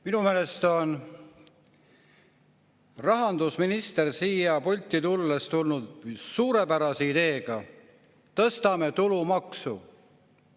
Minu meelest on rahandusminister siia pulti tulnud suurepärase ideega – tõstame tulumaksu.